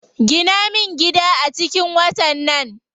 Gina min gida a cikin watan nan.